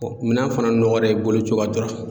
minan fana nɔgɔra i boli cogoya dɔrɔn.